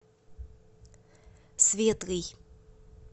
светлый